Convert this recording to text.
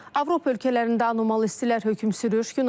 Avropa ölkələrində anomal istilər hökm sürür.